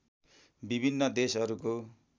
विभिन्न देशहरूको